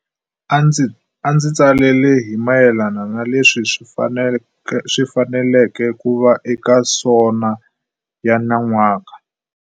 A ndzi tsalela hi mayelana na leswi swi faneleke ku va eka SoNA ya nyan'waka.